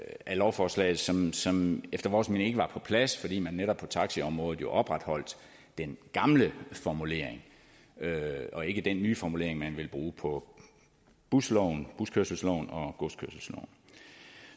lovforslaget som som efter vores mening ikke var på plads fordi man netop på taxiområdet opretholdt den gamle formulering og ikke den nye formulering man ville bruge på buskørselsloven og godskørselsloven